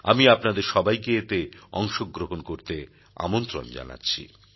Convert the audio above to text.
আমি আপনাদের সবাইকে এতে অংশগ্রহণ করতে আমন্ত্রণ জানাচ্ছি